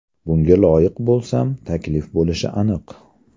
Bunga loyiq bo‘lsam, taklif bo‘lishi aniq.